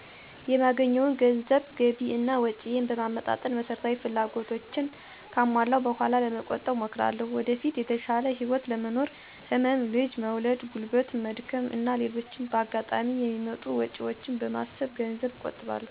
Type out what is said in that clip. የማገኘውን ገንዘብ ገቢ እና ወጭየን በማመጣጠን መሰረታዊ ፍላጎቶቸን ካሟለው በኋላ ለመቆጠብ እሞክራለሁ። ወደፊት የተሻለ ህይወት ለመኖር፣ ህመም፣ ልጅ መውለድ፣ ጉልበት መድከም እና ሌሎችም በአጋጣሚ የሚመጡ ወጭወችን በማሰብ ገንዘቤን እቆጥባለሁ።